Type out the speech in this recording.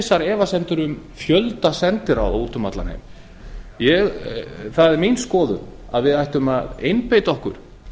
vissar efasemdir um fjölda sendiráða úti um allan heim það er mín skoðun að við ættum að einbeita okkur